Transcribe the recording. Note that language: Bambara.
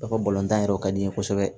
Ka fɔ balontan yɛrɛ o ka di n ye kosɛbɛ